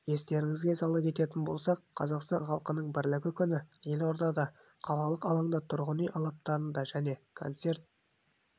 естеріңізге сала кететін болсақ қазақстан халқының бірлігі күні елордада қалалық алаңдарда тұрғын үй алаптарында және концерт